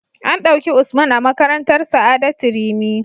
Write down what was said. An dauki Usman a makarantar sa'adatu rimi